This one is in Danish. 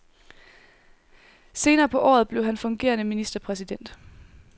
Senere på året blev han fungerende ministerpræsident.